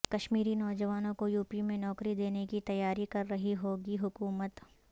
کشمیری نوجوانوں کو یوپی میں نوکری دینے کی تیاری کر رہی یوگی حکومت